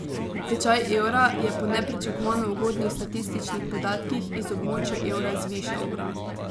Tečaj evra je po nepričakovano ugodnih statističnih podatkih iz območja evra zvišal.